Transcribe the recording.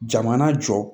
Jamana jɔ